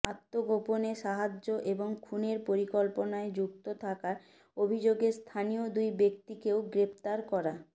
আত্মগোপনে সাহায্য এবং খুনের পরিকল্পনায় যুক্ত থাকার অভিযোগে স্থানীয় দুই ব্যক্তিকেও গ্রেফতার করা